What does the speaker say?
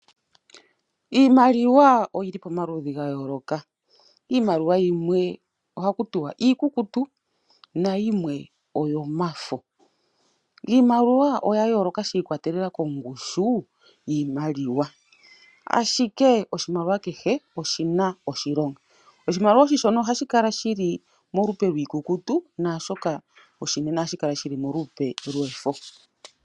Iimaliwa oyili pomaludhi ga yoloka, iimaliwa yimwe ohaku tiwa iikukutu na yimwe oyomafo. Iimaliwa oya yoloka shi ikwatelela kongushu yiimaliwa ashike oshimaliwa kehe oshina oshilonga. Oshimaliwa oshi shona ohashi kala shili molupe lwikukutu nashoka oshinene ohashi kala shili molupe lwefo.